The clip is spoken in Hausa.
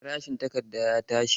Farashin takarda ya tashi.